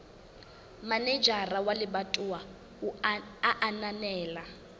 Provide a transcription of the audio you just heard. manejara wa lebatowa a ananela